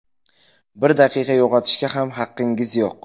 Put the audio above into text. Bir daqiqani yo‘qotishga ham haqqingiz yo‘q.